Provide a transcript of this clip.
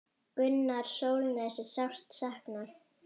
Gunnars Sólnes er sárt saknað.